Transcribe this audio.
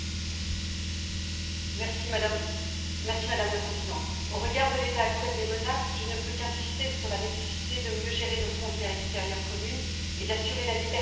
Madame la Présidente, au regard de l'état actuel des menaces, je ne peux qu'insister sur la nécessité de mieux gérer nos frontières extérieures communes et d'assurer la liberté de circulation à tous au sein de l'espace Schengen.